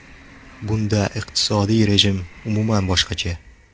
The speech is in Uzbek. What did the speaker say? Bunda iqtisodiy rejim umuman boshqacha.